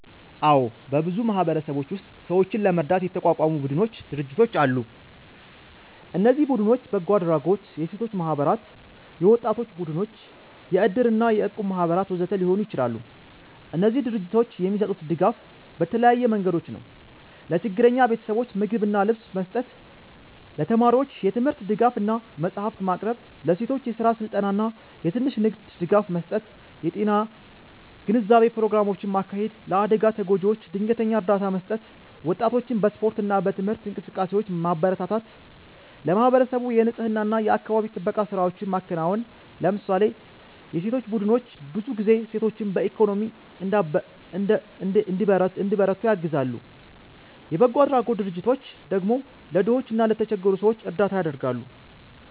አዎ፣ በብዙ ማህበረሰቦች ውስጥ ሰዎችን ለመርዳት የተቋቋሙ ቡድኖችና ድርጅቶች አሉ። እነዚህ ቡድኖች በጎ አድራጎት፣ የሴቶች ማህበራት፣ የወጣቶች ቡድኖች፣ የእድር እና የእቁብ ማህበራት ወዘተ ሊሆኑ ይችላሉ። እነዚህ ድርጅቶች የሚሰጡት ድጋፍ በተለያዩ መንገዶች ነው፦ ለችግረኛ ቤተሰቦች ምግብና ልብስ መስጠት ለተማሪዎች የትምህርት ድጋፍ እና መጽሐፍት ማቅረብ ለሴቶች የስራ ስልጠና እና የትንሽ ንግድ ድጋፍ መስጠት የጤና ግንዛቤ ፕሮግራሞችን ማካሄድ ለአደጋ ተጎጂዎች ድንገተኛ እርዳታ መስጠት ወጣቶችን በስፖርት እና በትምህርት እንቅስቃሴዎች ማበረታታት ለማህበረሰቡ የንፅህና እና የአካባቢ ጥበቃ ስራዎችን ማከናወን ለምሳሌ የሴቶች ቡድኖች ብዙ ጊዜ ሴቶችን በኢኮኖሚ እንዲበረቱ ያግዛሉ፣ የበጎ አድራጎት ድርጅቶች ደግሞ ለድሆች እና ለተቸገሩ ሰዎች እርዳታ ያደርጋሉ።